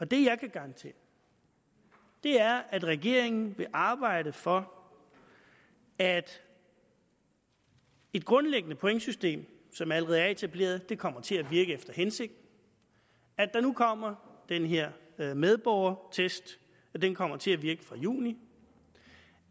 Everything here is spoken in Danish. det jeg kan garantere er at regeringen vil arbejde for at et grundlæggende pointsystem som allerede er etableret kommer til at virke efter hensigten at der nu kommer den her medborgerskabstest der kommer til at virke fra juni